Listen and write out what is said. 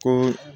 Ko